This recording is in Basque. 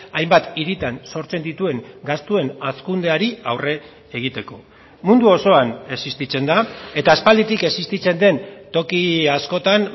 hainbat hiritan sortzen dituen gastuen hazkundeari aurre egiteko mundu osoan existitzen da eta aspalditik existitzen den toki askotan